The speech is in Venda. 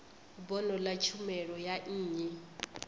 bono ḽa tshumelo ya nnyi